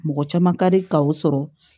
Mɔgɔ caman ka di ka o sɔrɔ